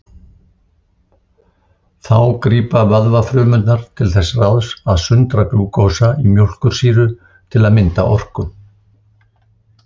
Þá grípa vöðvafrumurnar til þess ráðs að sundra glúkósa í mjólkursýru til að mynda orku.